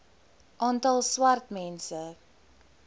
aantal swart mense